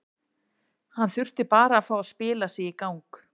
Hann þurfti bara að fá að spila sig í gang.